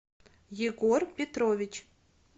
егор петрович